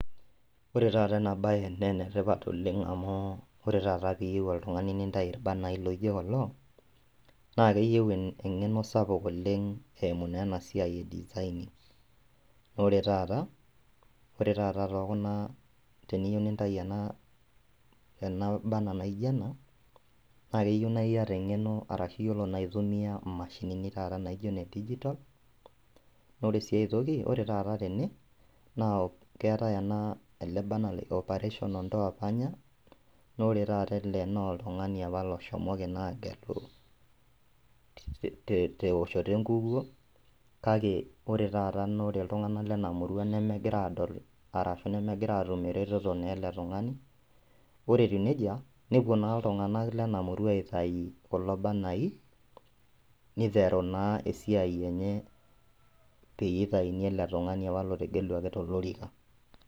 Ore taata ena baye nenetipat oleng' amu ore taata piyieu oltung'ani nintai irbanai loijo kulo naa keyieu en eng'eno sapuk oleng' eimu naa ena siai e design ore taata, ore taata tokuna teniyieu nintai ena ena banner naijo ena naa keyieu naa iyata arashu iyiolo naa aitumia imashinini naijio taata ine digital ore sii aetoki nore taata tene naa keetae ena ele banner operation ondoa panya nore taata ele noltung'ani apa loshomoki naa agelu te teoshoto enkukuo kake ore taata nore iltung'anak lena murua nemegira adol arashu nemegira atum eretoto naa ele tung'ani ore etiu nejia nepuo naa iltung'anak lena murua aitai kulo banai niteru naa esiai enye peyie itaini ele tung'ani apa lotegeluaki tolorika.